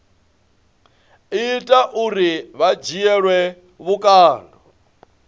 ita uri vha dzhielwe vhukando